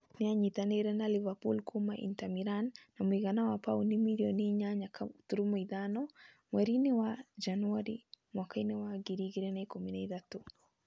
Nĩ aanyitanĩire na Liverpool kuuma Inter Milan na mũigana wa pauni mirioni 8.5 mweri-inĩ wa Janũarĩ mwaka wa 2013.